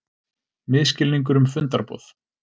Misskilningur um fundarboð